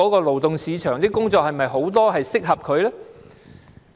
勞動市場是否有很多工作適合他們呢？